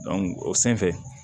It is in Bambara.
o senfɛ